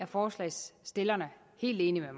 forslagsstillerne er helt enige